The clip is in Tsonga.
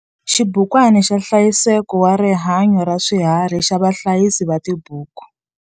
XIBUKWANA XA NHLAYISEKO WA RIHANYO RA SWIHARHI XA VAHLAYISI VA TIBUKU.